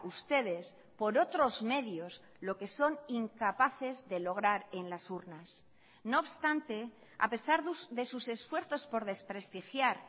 ustedes por otros medios lo que son incapaces de lograr en las urnas no obstante a pesar de sus esfuerzos por desprestigiar